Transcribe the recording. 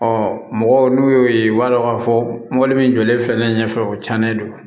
mɔgɔw n'u y'o ye u b'a dɔn k'a fɔ mɔbili min jɔlen filɛ ne ɲɛfɛ o cɛnnen don